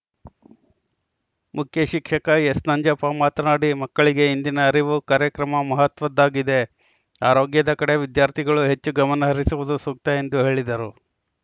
ಮುಖ್ಯ ಶಿಕ್ಷಕ ಎಸ್‌ನಂಜಪ್ಪ ಮಾತನಾಡಿ ಮಕ್ಕಳಿಗೆ ಇಂದಿನ ಅರಿವು ಕಾರ್ಯಕ್ರಮ ಮಹತ್ವದ್ದಾಗಿದೆ ಆರೋಗ್ಯದಕಡೆ ವಿದ್ಯಾರ್ಥಿಗಳು ಹೆಚ್ಚು ಗಮನ ಹರಿಸುವುದು ಸೂಕ್ತ ಎಂದು ಹೇಳಿದರು